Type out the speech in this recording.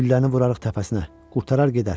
Gülləni vurarıq təpəsinə, qurtarar gedər.